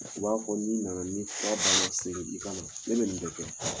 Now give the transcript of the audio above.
U b'a fɔ n'i na na ni fura ban na segin i ka na ne bɛ nin bɛɛ kɛ.